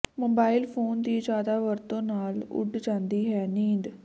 mobile phone ਦੀ ਜ਼ਿਆਦਾ ਵਰਤੋਂ ਨਾਲ ਉਡ ਜਾਂਦੀ ਹੈ ਨੀਂਦ